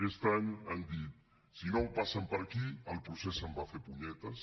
aquest any han dit si no passen per aquí el procés se’n va a fer punyetes